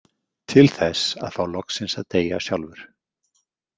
Til þess að fá loksins að deyja sjálfur.